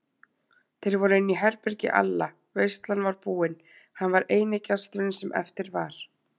Þeir voru inní herbergi Alla, veislan var búin, hann var eini gesturinn sem eftir var.